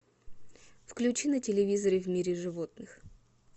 включи на телевизоре в мире животных